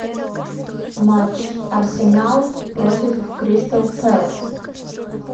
матч арсенал против кристал пэлас